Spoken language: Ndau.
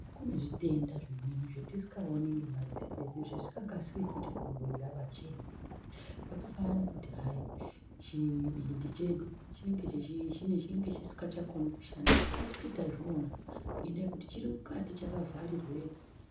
Kune zvitenda zvimweni zvatisikaoni nemaziso edu zvisikakasiki futi kubuda pachena zvakafanana nekuti hayi chibindi chedu chinenge chisikakoni kushanda hatikasiki tazviona ngendaa yekuti chirimukati chakavharirwemo .